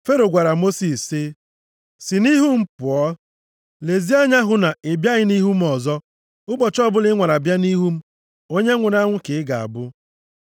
Fero gwara Mosis sị, “Si nʼihu m pụọ. Lezie anya hụ na ị bịaghị nʼihu m ọzọ. Ụbọchị ọbụla ị nwara bịa nʼihu m, onye nwụrụ anwụ ka ị ga-abụ.”